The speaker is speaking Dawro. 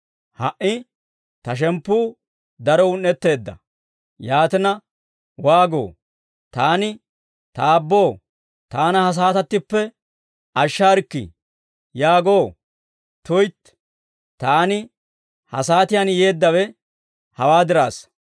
«Ha"i Ta shemppuu daro un"etteedda; yaatina waagoo? Taani, ‹Ta Aabboo, Taana ha saatattippe ashsharikki› yaagoo? Tuytti, Taani ha saatiyaan yeeddawe hawaa diraassa.